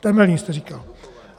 Temelín jste říkal!